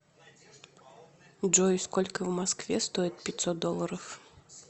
джой сколько в москве стоит пятьсот долларов